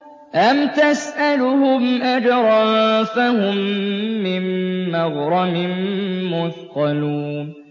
أَمْ تَسْأَلُهُمْ أَجْرًا فَهُم مِّن مَّغْرَمٍ مُّثْقَلُونَ